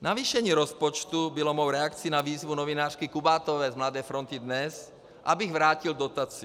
Navýšení rozpočtu bylo mou reakcí na výzvu novinářky Kubátové z Mladé Fronty Dnes, abych vrátil dotaci.